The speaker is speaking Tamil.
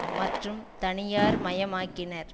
மற்றும் தனியார் மயமாக்கினர்